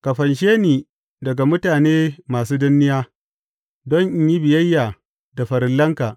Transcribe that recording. Ka fanshe ni daga mutane masu danniya, don in yi biyayya da farillanka.